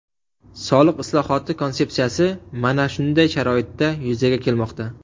Soliq islohoti konsepsiyasi mana shunday sharoitda yuzaga kelmoqda.